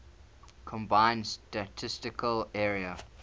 combined statistical area